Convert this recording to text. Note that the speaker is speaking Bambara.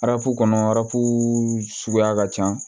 Arafu kɔnɔ arafu suguya ka ca